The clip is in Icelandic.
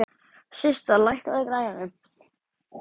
Systa, lækkaðu í græjunum.